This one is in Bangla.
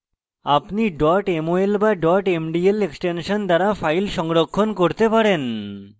অন্যথায় আপনি mol বা mdl এক্সটেনশন দ্বারা file সংরক্ষণ করতে পারেন